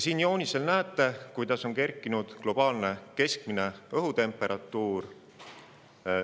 Siin joonisel näete, kuidas on kerkinud globaalne keskmine õhutemperatuur.